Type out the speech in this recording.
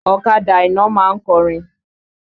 Ọ̀kadà Àìná ma ń kọrin.